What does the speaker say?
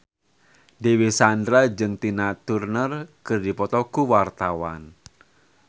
Dewi Sandra jeung Tina Turner keur dipoto ku wartawan